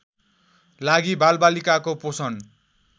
लागि बालबालिकाको पोषण